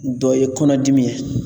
Dɔ ye kɔnɔdimi ye